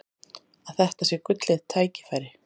Að þetta sé gullið tækifæri.